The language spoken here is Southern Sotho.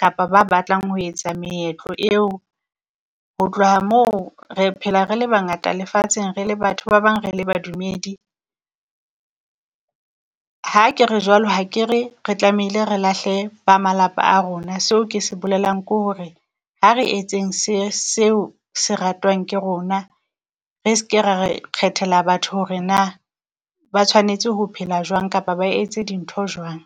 kapa ba batlang ho etsa meetlo eo. Ho tloha moo re phela re le bangata lefatsheng, re le batho ba bang, re le badumedi. Ha ke re jwalo, ha ke re re tlamehile re lahle ba malapa a rona, seo ke se bolelang kore a re etseng se seo se ratwang ke rona. Re ske ra re kgethela batho hore naa ba tshwanetse ho phela jwang kapa ba etse dintho jwang.